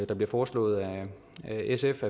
det bliver foreslået af sf